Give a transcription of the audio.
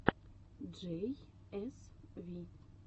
джей эс ви